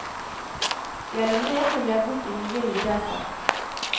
Gjennom det kom jeg bort i mye lidelse.